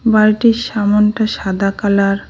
বাড়িটির সামোনটা সাদা কালার ।